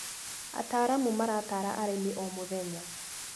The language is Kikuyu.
Ataaramu maratara arĩmi o mũthenya.